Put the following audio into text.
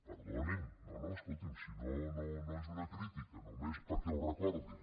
perdonin no no escolti’m si no és una crítica només perquè ho recordin